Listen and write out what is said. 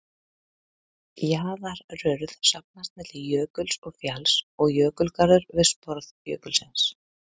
Jaðarurð safnast milli jökuls og fjalls og jökulgarður við sporð jökulsins.